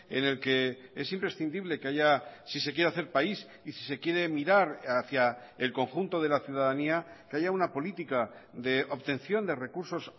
en el que es imprescindible que haya si se quiere hacer país y si se quiere mirar hacia el conjunto de la ciudadanía que haya una política de obtención de recursos